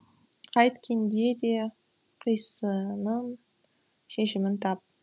қайткенде де қисынын шешімін тап